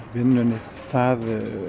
vinnunni það